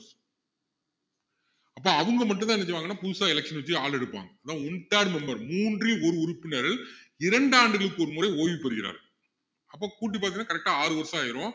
அப்போ அவங்க மட்டும் தான் என்ன செய்வாங்கன்னா புதுசா election வச்சு ஆள் எடுப்பாங்க அதான் one third member மூன்றில் ஒரு உறுப்பினர் இரண்டு ஆண்டுகளுக்கு ஒரு முறை ஓய்வு பெறுகிறார் அப்போ கூட்டி பாத்தியன்னா correct ஆ ஆறு வருஷம் ஆயிரும்